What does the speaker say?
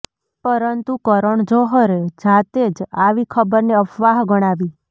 પરંતુ કરણ જોહરે જાતે જ આવી ખબરને અફવાહ ગણાવી